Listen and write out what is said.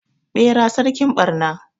Bera sarkin barna